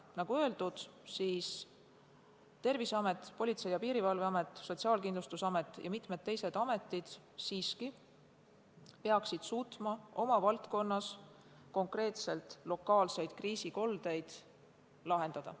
Nagu öeldud, peaksid Terviseamet, Politsei- ja Piirivalveamet, Sotsiaalkindlustusamet ja mitmed teised ametid siiski suutma oma valdkonnas konkreetseid lokaalseid kriisikoldeid lahendada.